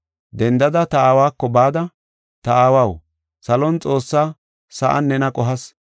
Dendada ta aawako bada, ‘Ta aawaw, salon Xoossa, sa7an nena qohas.